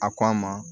A ko a ma